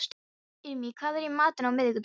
Irmý, hvað er í matinn á miðvikudaginn?